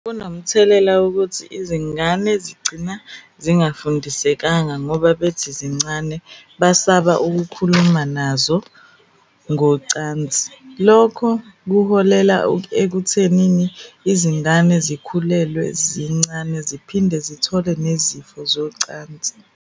Kunomthelela wokuthi izingane zigcina zingafundisekanga ngoba bethi zincane basaba ukukhuluma nazo ngocansi. Lokho kuholela ekuthenini izingane zikhulelwe zincane ziphinde zithole nezifo zocansi.